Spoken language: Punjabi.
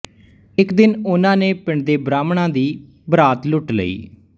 ਇੱਕ ਦਿਨ ਉਹਨਾਂ ਨੇ ਪਿੰਡ ਦੇ ਬ੍ਰਾਹਮਣਾਂ ਦੀ ਬਰਾਤ ਲੁੱਟ ਲਈ